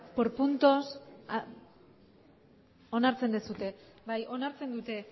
por puntos onartzen duzue bai onartzen dute